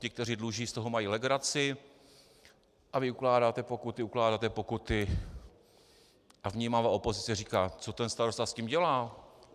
Ti, kteří dluží, z toho mají legraci, a vy ukládáte pokuty, ukládáte pokuty a vnímavá opozice říká: Co ten starosta s tím dělá?